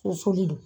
Susuli don